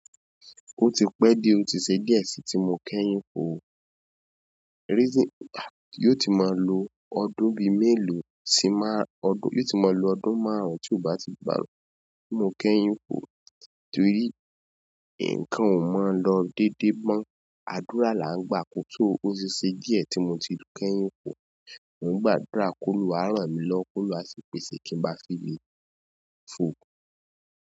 Ó ti pẹ́ díẹ̀ ọ ti ṣe díẹ̀ sí tí mo kẹ́yìn fò ó, reason, yóò ti máa lo ọdún bí mẹ́lòó sí máa, ọdún, yóò ti máa lo ọdún márùn-ún tí ó bá ti gbà ló, ti mo kẹ́yìn fò ó, torí nǹkan ò mọ̀ lọ dédé mọ́. Àdúrà là ń gbàs o ó ti ṣe díẹ̀ tí mo ti kẹ́yìn fò ó. Mo ń gbàdúrà kóluwa rànmi lọ́wo, kóluwa ṣí pè ṣé kí ń bá fi le fò.